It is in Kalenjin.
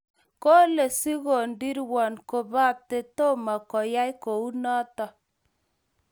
Kole sigodirwon kobate tomo koyai ko u noto.